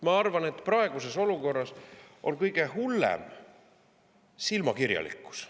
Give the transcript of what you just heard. Ma arvan, et praeguses olukorras on kõige hullem silmakirjalikkus.